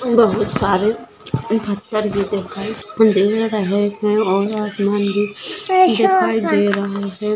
बहुत सारे भी दिखाई दे रहे है और आसमान भी दिखाई दे रहा है।